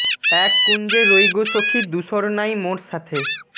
এক কুঞ্জে রই গো সখী দুসর নাই মোর সাথে